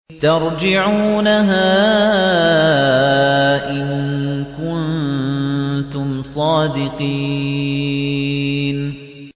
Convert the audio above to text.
تَرْجِعُونَهَا إِن كُنتُمْ صَادِقِينَ